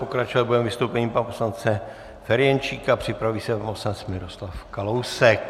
Pokračovat budeme vystoupením pana poslance Ferjenčíka, připraví se pan poslanec Miroslav Kalousek.